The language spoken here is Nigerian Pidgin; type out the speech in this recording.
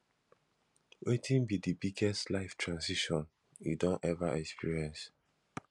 wetin be di biggest life transition you don ever experience